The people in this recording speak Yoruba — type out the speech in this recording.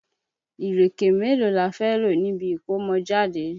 Ìréké mélóò la fé lò níbi ìkómọjáde?